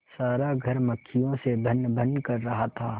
सारा घर मक्खियों से भनभन कर रहा था